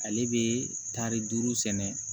Ale bɛ taari duuru sɛnɛ